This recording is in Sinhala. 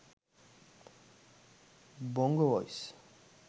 bongo voice